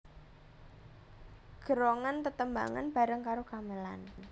Gérongan tetembangan bareng karo gamelan